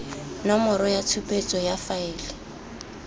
nomoro ya tshupetso ya faele